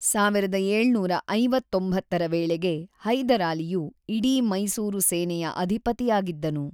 ೧೭೫೯ರ ವೇಳೆಗೆ ಹೈದರಾಲಿಯು ಇಡೀ ಮೈಸೂರು ಸೇನೆಯ ಅಧಿಪತಿಯಾಗಿದ್ದನು.